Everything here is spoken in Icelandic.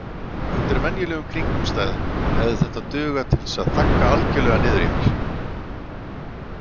Undir venjulegum kringumstæðum hefði þetta dugað til að þagga algerlega niður í mér.